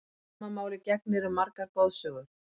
Sama máli gegnir um margar goðsögur.